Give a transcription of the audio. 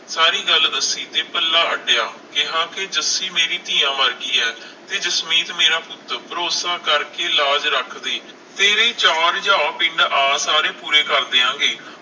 ਸਾਰੀ ਗੱਲ ਦੱਸੀ ਤੇ ਪੱਲਾ ਅੱਡਿਆਂ ਕਿਹਾ ਕੇ ਜੱਸੀ ਮੇਰੀ ਧੀਆਂ ਵਰਗੀ ਹੈ ਤੇ ਜਸਮੀਤ ਮੇਰਾ ਪੁੱਤ, ਭਰੋਸਾ ਕਰਕੇ ਲਾਜ ਰੱਖਦੀ ਤੇਰੀ ਚਾਅ ਪਿੰਡ ਆ ਸਾਰੇ ਪੂਰੇ ਕਰ ਦਿਆਂ ਗੇ